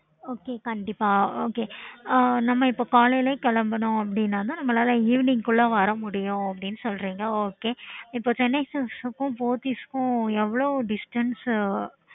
okay